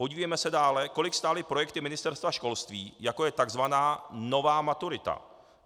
Podívejme se dále, kolik stály projekty Ministerstva školství, jako je tzv. nová maturita.